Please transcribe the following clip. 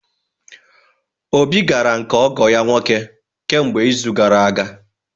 Obi gara nke ọgo ya nwoke kemgbe izu gara aga.